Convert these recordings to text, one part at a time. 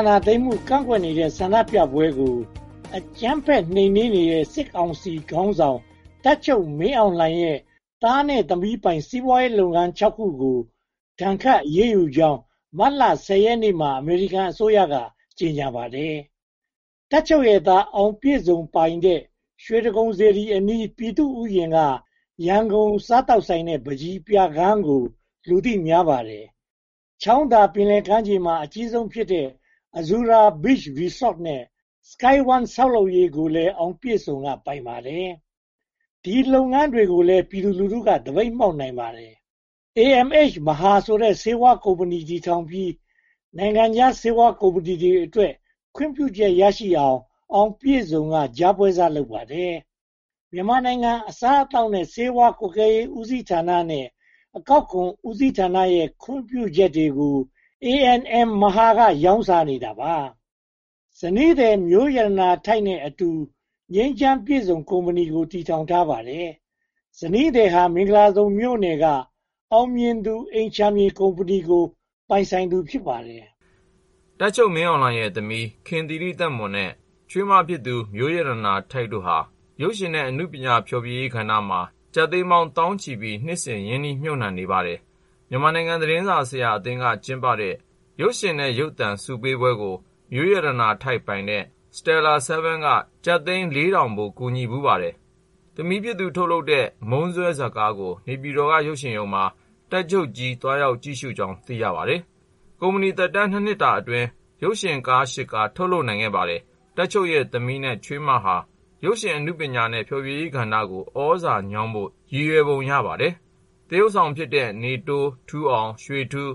ာဏာသိမ်းမှု ကန့်ကွက်တဲ့ ဆန္ဒပြပွဲကို အကြမ်းဖက်နှိမ်နင်းနေတဲ့ စစ်ကောင်စီခေါင်းဆောင် တပ်ချုပ်မင်းအောင်လှိုင်ရဲ့ သားနဲ့သမီးပိုင် စီးပွားရေးလုပ်ငန်း (၆) ခုကို ဒဏ်ခတ်အရေးယူကြောင်း မတ်လ (၁၀) ရက်နေ့မှာ အမေရိကန်အစိုးရက ကြေညာပါတယ်။ တပ်ချုပ်ရဲ့သား အောင်ပြည့်စုံပိုင်တဲ့ ရွှေတိဂုံစေတီအနီး ပြည်သူ့ဥယျာဉ်က ရန်ကုန်စားသောက်ဆိုင်နဲ့ ပန်းချီပြခန်းကို လူသိများပါတယ်။ ချောင်းသာပင်လယ်ကမ်းခြေမှာ အကြီးဆုံးဖြစ်တဲ့ Azura Beach Resort နဲ့ Sky One ဆောက်လုပ်ရေးကိုလည်း အောင်ပြည့်စုံက ပိုင်ပါတယ်။ ဒီလုပ်ငန်းတွေကိုလည်း ပြည်သူလူထုက သပိတ်မှောက်နိုင်ပါတယ်။ A & M Mahar ဆိုတဲ့ ဆေးဝါးကုမ္ပဏီ တည်ထောင်ပြီး နိုင်ငံခြားဆေးဝါးကုမ္ပဏီတွေအတွက် ခွင့်ပြုချက်ရအောင် အောင်ပြည့်စုံက ကြားပွဲစားလုပ်ပါတယ်။ မြန်မာနိုင်ငံအစားအသောက်နဲ့ ဆေးဝါးကွပ်ကဲရေး ဦးစီးဌာနနဲ့ အကောက်ခွန်ဦးစီးဌာနရဲ့ ခွင့်ပြုချက်တွေကို A & M Mahar က ရောင်းစားနေတာပါ။ ဇနီးသည် မျိုးရတနာထိုက်နဲ့အတူ ငြိမ်းချမ်းပြည့်စုံ ကုမ္ပဏီကို တည်ထောင်ထားပါတယ်။ ဇနီးသည်ဟာ မင်္ဂလာဒုံမြို့နယ်က အောင်မြင်သူ အိမ်ခြံမြေကုမ္ပဏီကို ပိုင်ဆိုင်သူ ဖြစ်ပါတယ်။ တပ်ချုပ်မင်းအောင်လှိုင်ရဲ့သမီး ခင်သီရိသက်မွန်နဲ့ ချွေးမဖြစ်သူ မျိုးရတနာထိုက်တို့ဟာ ရုပ်ရှင်နဲ့ အနုပညာဖျော်ဖြေရေးကဏ္ဍမှာ ကျပ်သိန်းပေါင်းသောင်းချီပြီး နှစ်စဉ်ရင်းနှီးမြုပ်နံှနေပါတယ်။ မြန်မာနိုင်ငံသတင်းစာအသင်းက ကျင်းပတဲ့ ရုပ်ရှင်နဲ့ ရုပ်သံဆုပေးပွဲကို မျိုးရတနာထိုက်ပိုင်တဲ့ စတယ်လာဆဲဗင်း က ကျပ်သိန်း (၄၀၀၀) ဖိုး ကူညီဖူးပါတယ်။ သမီးဖြစ်သူ ထုတ်လုပ်တဲ့ မုန်းစွဲဇာတ်ကားကို နေပြည်တော်က ရုပ်ရှင်ရုံမှာ တပ်ချုပ်ကြီး သွားရောက်ကြည့်ရှုကြောင်း သိရပါတယ်။ ကုမ္ပဏီသက်တမ်း (၂) နှစ်အတွင်း ရုပ်ရှင်ဇာတ်ကား (၈) ကား ထုတ်နိုင်ပါတယ်။ တပ်ချုပ်ရဲ့ သမီးနဲ့ ချွေးမတို့ဟာ ရုပ်ရှင်အနုပညာနဲ့ ဖျော်ဖြေရေးကဏ္ဍကို သြဇာညောင်းဖို့ ရည်ရွယ်ပုံရပါတယ်။ သရုပ်ဆောင်တွေဖြစ်တဲ့ နေတိုး၊ ထူးအောင်၊ ရွှေထူး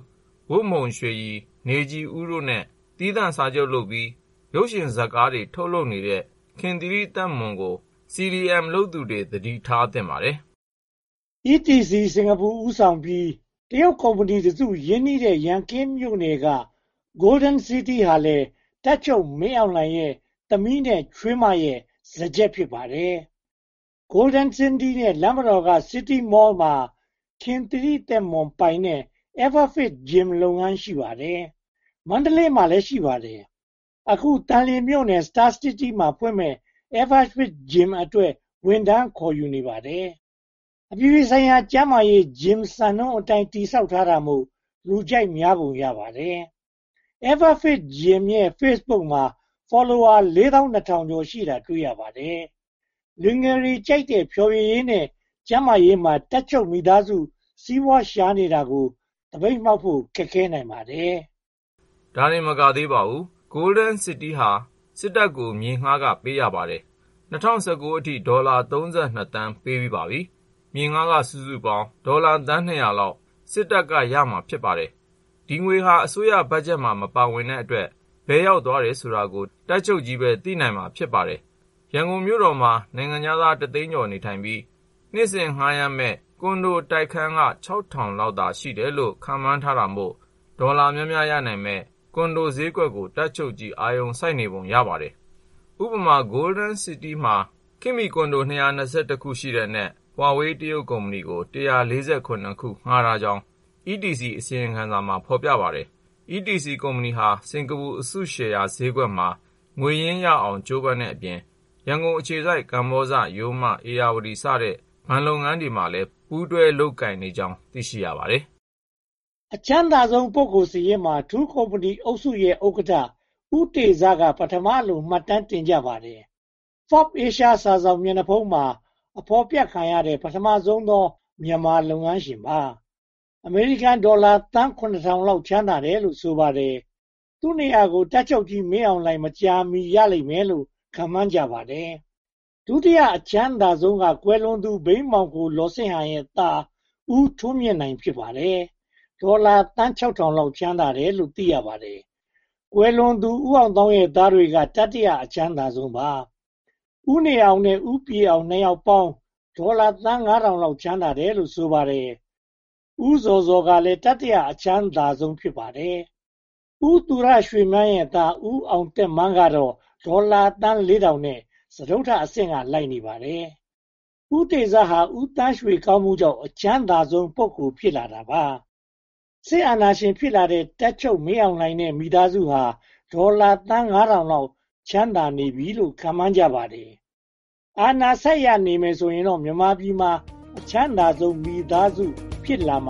၊ ဝတ်မှုန်ရွှေရည်၊ နေခြည်ဦးတို့နဲ့ သီးသန့်စာချုပ်ချုပ်ပြီး ရုပ်ရှင်ဇာတ်ကားတွေ ထုတ်လုပ်နေတဲ့ ခင်သီရိသက်မွန်ကို CDM လုပ်သူတွေ သတိထားသင့်ပါတယ်။ ETC စင်္ကာပူ ဦးဆောင်ပြီး တရုတ်ကုမ္ပဏီတစု ရင်းနှီးတဲ့ ရန်ကင်းမြို့နယ် Golden City ဟာလည်း တပ်ချုပ်မင်းအောင်လှိုင်ရဲ့ သမီးနဲ့ချွေးမတို့ရဲ့ စားကျက် ဖြစ်ပါတယ်။ Golden City နဲ့ လမ်းမတော်က City Mall မှာ ခင်သီရိသက်မွန်ပိုင်တဲ့ Everfit Gym လုပ်ငန်း ရှိပါတယ်။ မန္တလေးမှာလည်း ရှိပါတယ်။ အခုသံလွင်မြို့နယ် Star City မှာ ဖွင့်မယ့် Everfit Gym အတွက် ဝန်ထမ်းခေါ်ယူနေပါတယ်။ အပြည်ပြည်ဆိုင်ရာ ကျန်းမာရေး Gym ရဲ့ စံနှုန်းအတိုင်း တည်ဆောက်ထားတာမို့ လူကြိုက်များပုံ ရပါတယ်။ Everfit Gym ရဲ့ Facebook မှာ Follower (၄၂၂၂၄) ရှိနေတာကို တွေ့ရပါတယ်။ လူငယ်တွေကြိုက်တဲ့ ဖျော်ဖြေရေးနဲ့ ကျန်းမာရေးမှာ တပ်ချုပ်ကြီးမိသားစု စီးပွားရှာနေတာကို သပိတ်မှောက်ဖို့ ခက်ခဲနိုင်ပါတယ်။ ဒါတင်မကသေးပါဘူး Golden City ဟာ စစ်တပ်ကို မြေငှားခ ပေးရပါတယ်။ ၂၀၁၉ အထိ ဒေါ်လာ (၃၂) သန်း ပေးပြီးပါပြီ။ မြေငှားခ စုစုပေါင်း ဒေါ်လာသန်း (၂၀၀) လောက် စစ်တပ်က ရမှာဖြစ်ပါတယ်။ ဒီငွေဟာ အစိုးရဘတ်ဂျက်မှာ မပါဝင်တဲ့အတွက် ဘယ်ရောက်သွားတယ်ဆိုတာကို တပ်ချုပ်ကြီးပဲ သိနိုင်ပါလိမ့်မယ်။ ရန်ကုန်မြို့တော်မှာ နိုင်ငံခြားသား တသိန်းကျော် နေထိုင်ပြီး နှစ်စဉ်ငှားရမ်းမယ့် ကွန်ဒိုတိုက်ခိုက်က (၆၀၀၀) လောက်သာ ရှိတယ်လို့ ခန့်မှန်းတာမို့ ဒေါ်လာများများရနိုင်မယ့် ကွန်ဒိုဈေးကွက်ကို တပ်ချုပ်ကြီး အာရုံစိုက်နေပုံ ရပါတယ်။ ဥပမာ Golden City မှာ ခေတ်မီကွန်ဒို (၂၂၁) ခု ရှိတဲ့အနက် ဟွာဝေး တရုတ်ကုမ္ပဏီကို (၁၄၇) ခု ငှားထားကြောင်း ETC အစီရင်ခံစာမှာ ဖော်ပြထားပါတယ်။ ETC ကုမ္ပဏီဟာ စင်္ကာပူအစုရှယ်ယာဈေးကွက်မှာ ငွေရင်းရအောင် ကြိုးပမ်းတဲ့အပြင် ရန်ကုန်အခြေစိုက် ကမ္ဘောဇ၊ ရိုးမ၊ ဧရာဝတီ စတဲ့ဘဏ်လုပ်ငန်းတွေနဲ့လည်း ပူးတွဲလုပ်ကိုင်နေကြောင်း သိရှိရပါတယ်။ အချမ်းသားဆုံးပုဂ္ဂိုလ်စာရင်းမှာ ထူးကုမ္ပဏီအုပ်စုရဲ့ ဥက္ကဋ္ဌ ဦးတေဇက ပထမလို့ မှတ်တမ်းတင်ကြပါတယ်။ Forbes Asia စာစောင်မျက်နှာဖုံးမှာ ဖော်ပြခံရတဲ့ ပထမဆုံးသော မြန်မာလုပ်ငန်းရှင်ပါ။ အမေရိကန်ဒေါ်လာ သန်း (၇၀၀၀) လောက် ချမ်းသာတယ်လို့ ဆိုပါတယ်။ သူ့နေရာကို တပ်ချုပ်ကြီး မင်အောင်လှိုင် မကြာမီ ရလိမ့်မယ်လို့ ခန့်မှန်းကြပါတယ်။ ဒုတိယအချမ်းသာဆုံးကတော့ ကွယ်လွန်သူ ဘိန်းမှောင်ခို လောစစ်ဟန်ရဲ့သား ဦးထွန်းမြင့်နိုင် ဖြစ်ပါတယ်။ ဒေါ်လာသန်း (၆၀၀၀) လောက် ချမ်းသာတယ်လို့ သိရပါတယ်။ ကွယ်လွန်သူဝန်ကြီး ဦးအောင်သောင်းရဲ့သားတွေက တတိယ အချမ်းသာဆုံးပါ။ ဦးနေအောင်နဲ့ ဦးပြည့်အောင် နှစ်ယောက်ပေါင်း ဒေါ်လာသန်း (၅၀၀၀) ချမ်းသာတယ်လို့ ဆိုပါတယ်။ ဦးဇော်ဇော်ကလည်း တတိယ အချမ်းသာဆုံး ဖြစ်ပါတယ်။ ဦးရွှေမန်းရဲ့သား ဦးအောင်သက်မန်းကတော့ ဒေါ်လာသန်း (၄၀၀၀) နဲ့ စတုတ္ထအဆင့်က လိုက်နေပါတယ်။ ဦးတေဇဟာ ဦးသန်းရွှေကောင်မှုကြောင့် အချမ်းသာဆုံးပုဂ္ဂိုလ် ဖြစ်လာတာပါ။ စစ်အာဏာရှင် ဖြစ်လာတဲ့ တပ်ချုပ်မင်းအောင်လှိုင်နဲ့ မိသားစုဟာ ဒေါ်လာသန်း (၅၀၀၀) လောက် ချမ်းသာနေပြီလို့ ခန့်မှန်းကြပါတယ်။ အာဏာဆက်ရနေမယ်ဆိုရင်တော့ မြန်မာပြည်မှာ အချမ်းသာဆုံးမိသားစု ဖြစ်လာမှ